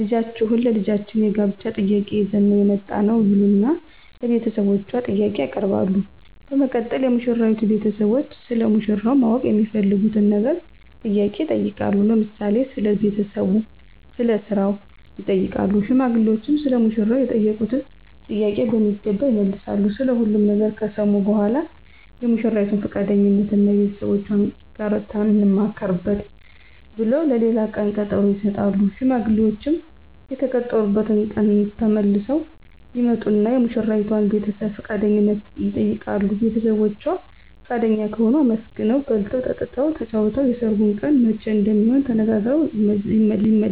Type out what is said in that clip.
ልጃችሁን ለልጃችን የጋብቻ ጥያቄ ይዘን ነው የመጣነው ይሉና ለቤተሰቦቿ ጥያቄ ያቀርባሉ በመቀጠል የሙሽራይቱ ቤተሰቦች ስለ ሙሽራው ማወቅ የሚፈልጉትን ነገር ጥያቄ ይጠይቃሉ ለምሳሌ ስለ ቤተሰቡ ስለ ስራው ይጠይቃሉ ሽማግሌዎችም ሰለ ሙሽራው የተጠየቁትን ጥያቄ በሚገባ ይመልሳሉ ስለ ሁሉም ነገር ከሰሙ በኃላ የሙሽራይቱን ፍቃደኝነት እና ከቤተሰቦቻችን ጋር እንማከርበት ብለው ለሌላ ቀን ቀጠሮ ይሰጣሉ። ሽማግሌዎችም በተቀጠሩበት ቀን ተመልሰው ይመጡና የሙሽራዋን ቤተሰብ ፍቃደኝነት ይጠይቃሉ ቤተሰቦቿ ፍቃደኛ ከሆኑ አመስግነው በልተው ጠጥተው ተጫውተው የሰርጉ ቀን መቼ እንደሚሆን ተነጋግረው ይመለሳሉ።